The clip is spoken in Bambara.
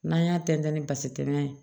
N'an y'a tɛntɛn ni basi tɛmɛ ye